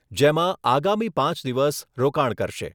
જેમાં આગામી પાંચ દિવસ રોકાણ કરશે.